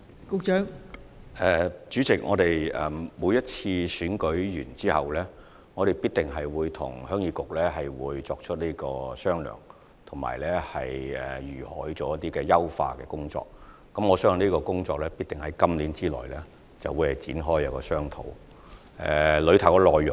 代理主席，我們每次完成選舉後，必定會與鄉議局商討有關的優化工作，而我相信這項工作必定會在今年內展開並進行商討。